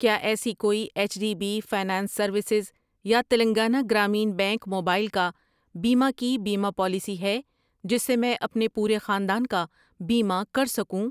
کیا ایسی کوئی H D B finance services یا تیلنگانہ گرامین بینک موبائل کا بیمہ کی بیمہ پالیسی ہے جس سے میں اپنے پورے خاندان کا بیمہ کر سکوں؟